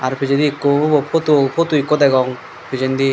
pijedi ekku ubo photo photo ekku degong pijendi.